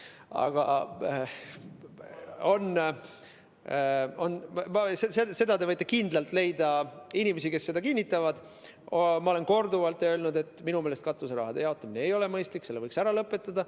Aga te võite kindlalt leida inimesi, kes kinnitavad, et ma olen korduvalt öelnud, et minu meelest ei ole katuseraha jagamine mõistlik, selle võiks ära lõpetada.